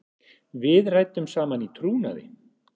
Við ræddum saman í trúnaði.